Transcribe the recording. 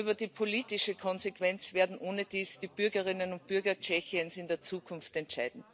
Und über die politische Konsequenz werden ohnedies die Bürgerinnen und Bürger Tschechiens in der Zukunft entscheiden.